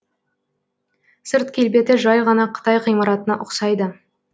сырт келбеті жай ғана қытай ғимаратына ұқсайды